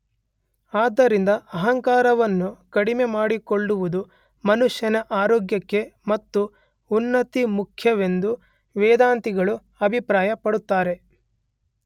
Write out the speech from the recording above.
ಆದ್ದರಿಂದ ಅಹಂಕಾರವನ್ನು ಕಡಿಮೆ ಮಾಡಿಕೊಳ್ಳುವುದು ಮನುಷ್ಯನ ಆರೋಗ್ಯಕ್ಕೆ ಮತ್ತು ಉನ್ನತಿಗೆ ಮುಖ್ಯ ಎಂದು ವೇದಾಂತಿಗಳು ಅಭಿಪ್ರಾಯ ಪಡುತ್ತಾರೆ.